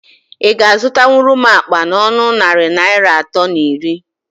Ị ga azụtanwuru m akpa n'ọnọ narị Naịra atọ na iri?